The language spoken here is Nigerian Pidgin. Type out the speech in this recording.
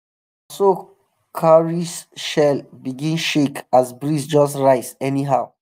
so cowrie shell begin shake as breeze just rise anyhow.